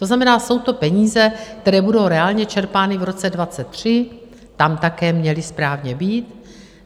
To znamená, jsou to peníze, které budou reálně čerpány v roce 2023, tam také měly správně být.